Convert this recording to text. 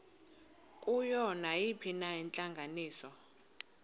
kuyo nayiphina intlanganiso